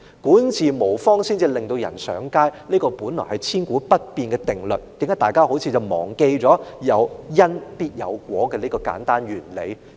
管治無方致令人上街是千古不變的定律，有因必有果，為何大家卻好像忘記了這個簡單原理呢？